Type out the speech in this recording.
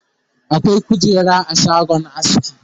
akwai kujera a shagon aski